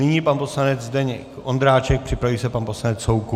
Nyní pan poslanec Zdeněk Ondráček, připraví se pan poslanec Soukup.